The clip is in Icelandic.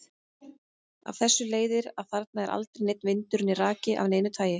Af þessu leiðir að þarna er aldrei neinn vindur né raki af neinu tagi.